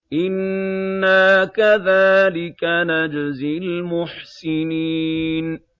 إِنَّا كَذَٰلِكَ نَجْزِي الْمُحْسِنِينَ